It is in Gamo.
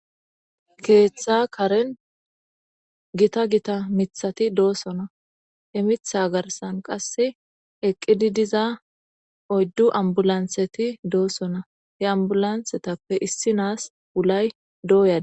keeththa karen gita gita mithati doosona emitha garsan qasse eqqidi diza oyddu ambulantheti doossona he ambulanthetappe issi naas ulay dooyada